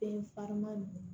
Den farinman don